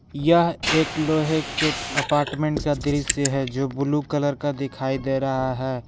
यह एक लोहे के अपार्टमेंट का दृश्य है जो ब्लू कलर का दिखाई दे रहा है।